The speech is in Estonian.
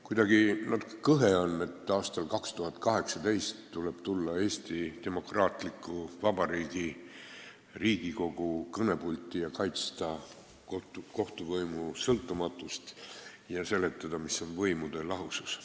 Kuidagi kõhe on, et aastal 2018 tuleb tulla Eesti demokraatliku vabariigi Riigikogu kõnepulti ja kaitsta kohtuvõimu sõltumatust ja seletada, mis on võimude lahusus.